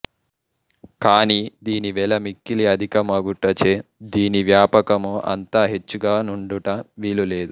కాని దీని వెల మిక్కిలి అధికమగుటచే దీని వ్వాపకము అంత హెచ్చుగ నుండుట వీలులేదు